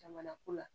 Jamana ko la